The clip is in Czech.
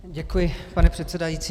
Děkuji, pane předsedající.